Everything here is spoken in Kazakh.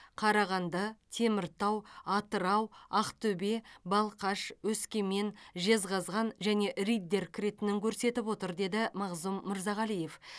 қарағанды теміртау атырау ақтөбе балқаш өскемен жезқазган және риддер кіретінін көрсетіп отыр деді мағзұм мырзағалиев